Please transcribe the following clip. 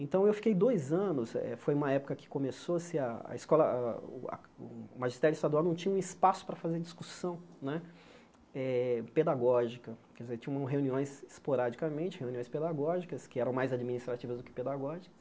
Então eu fiquei dois anos, eh foi uma época que começou-se a a escola a a o a, o magistério estadual não tinha um espaço para fazer discussão né eh pedagógica, quer dizer, tinham reuniões esporadicamente, reuniões pedagógicas, que eram mais administrativas do que pedagógicas.